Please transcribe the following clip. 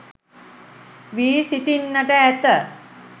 වී සිටින්නට ඇත.